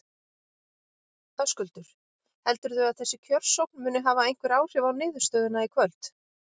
Höskuldur: Heldurðu að þessi kjörsókn muni hafa einhver áhrif á niðurstöðuna í kvöld?